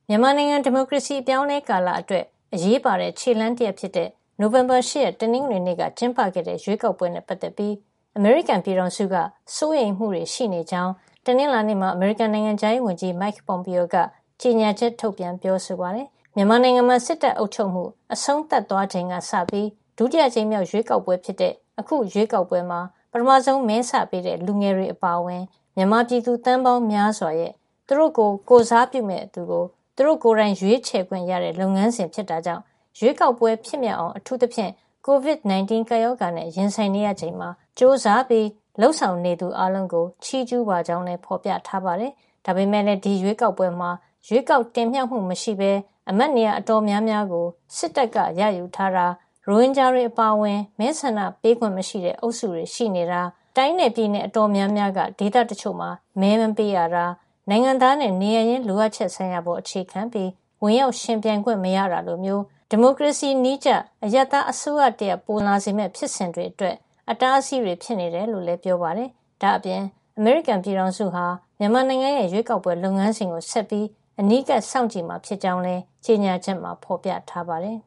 မြန်မာနိုင်ငံဒီမိုကရေစီ အပြောင်းအလဲကာလအတွက် အရေးပါတဲ့ခြေလှမ်း တရပ်ဖြစ်တဲ့ နိုဝင်ဘာလ ၈ ရက် တနင်္ဂနွေ နေ့က ကျင်းပတဲ့ ရွေးကောက်ပွဲနဲ့ ပတ်သက်ပြီး အမေရိကန်ပြည်ထောင်စုက စိုးရိမ်မှုတွေ ရှိနေကြောင်း တနင်္လာနေ့မှာ အမေရိကန် နိုင်ငံခြားရေးဝန်ကြီး Mike Pompeo က ကြေညာချက် ထုတ်ပြန် ပြောဆိုပါတယ်။ မြန်မာနိုင်ငံမှာ စစ်တပ်အုပ်ချုပ်မှုအဆုံးသတ်သွားချိန်ကစပြီး ဒုတိယအကြိမ်မြောက် ရွေးကောက်ပွဲ ဖြစ်တဲ့ အခုရွေးကောက်ပွဲမှာပထမဆုံး မဲစပေးတဲ့ လူငယ်တွေ အပါအဝင် မြန်မာပြည်သူ သန်းပေါင်းများစွာ ရဲ့ သူတို့ကို ကိုယ်စားပြုမယ့် သူကို သူတို့ကိုယ်တိုင် ရွေးချယ်ခွင့်ရတဲ့ လုပ်ငန်းစဉ်ဖြစ် တာကြောင့် ရွေးကောက်ပွဲ ဖြစ်မြောက်အောင် အထူးသဖြင့် COVID-19 ကပ်ရောဂါ နဲ့ရင်ဆိုင်နေရချိန်မှာ ကြိုးစားပြီး လုပ်ဆောင်နေသူအားလုံးကို ချီးကြူးပါကြောင်းလည်း ဖေါ်ပြထားပါတယ်။ ဒါပေမယ့်လည်း ဒီရွေးကောက်ပွဲမှာ ရွေးကောက်တင်မြှောက်မှုမရှိပဲ အမတ်နေရာအတော်များများကို စစ်တပ်က ရယူထားတာ၊ ရိုဟင်ဂျာတွေအပါအဝင် မဲဆန္ဒပေးပိုင်ခွင့်မရှိတဲ့ အုပ်စုတွေ ရှိနေတာ၊ တိုင်းနဲ့ ပြည်နယ် အတော်များများက ဒေသတချို့မှာ မဲမပေးရတာ၊ နိုင်ငံသားနဲ့ နေရပ်ရင်း လိုအပ်ချက်ဆိုင်ရာ ပေါ် အခြေခံပြီး ဝင်ရောက်ယှဉ်ပြိုင်ခွင့်မရတာ လိုမျိုး ဒီမိုကရေစီနည်းကျ အရပ်သားအစိုးရတရပ် ပိုဆန်လာစေမယ့် ဖြစ်စဉ်တွေအတွက် အတားအဆီးတွေ ဖြစ်နေတယ်လို့လည်း ပြောပါတယ်။ ဒါပြင် အမေရိကန်ပြည်ထောင်စုဟာ မြန်မာနိုင်ငံရဲ့ ရွေးကောက်ပွဲလုပ်ငန်းစဉ်ကို ဆက်ပြီး အနီးကပ်စောင့်ကြည့်မှာ ဖြစ်ကြောင်းလည်း ကြေညာချက်မှာ ဖေါ်ပြထားပါတယ်